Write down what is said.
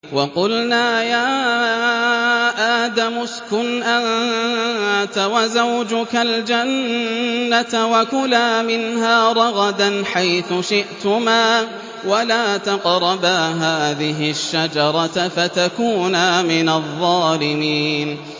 وَقُلْنَا يَا آدَمُ اسْكُنْ أَنتَ وَزَوْجُكَ الْجَنَّةَ وَكُلَا مِنْهَا رَغَدًا حَيْثُ شِئْتُمَا وَلَا تَقْرَبَا هَٰذِهِ الشَّجَرَةَ فَتَكُونَا مِنَ الظَّالِمِينَ